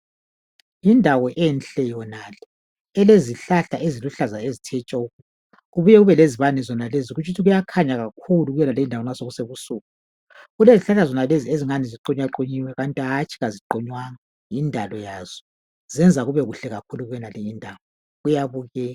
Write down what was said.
Indawo enhle yonale elezihlahla eziluhlaza ezithe tshoko kubuye kube lezibane zonalezo kutshukithi kuyakhanya kakhulu kuyonali ndawo nxa sekusebusuku. Kulezihlahla ezingani ziqunyaqunyiwe kanti hantsho aziqunywanga yindalo yazo zenza kube kuhle kakhulu kuyonalindawo kuyabukeka